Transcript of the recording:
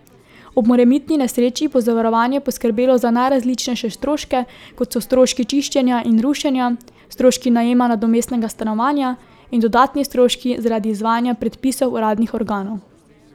Ob morebitni nesreči bo zavarovanje poskrbelo za najrazličnejše stroške, kot so stroški čiščenja in rušenja, stroški najema nadomestnega stanovanja in dodatni stroški zaradi izvajanja predpisov uradnih organov.